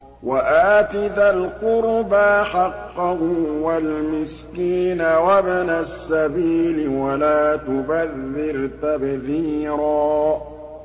وَآتِ ذَا الْقُرْبَىٰ حَقَّهُ وَالْمِسْكِينَ وَابْنَ السَّبِيلِ وَلَا تُبَذِّرْ تَبْذِيرًا